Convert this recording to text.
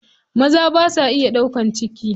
Maza basa iya ɗaukan ciki.